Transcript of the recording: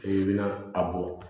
I bɛ na a bɔ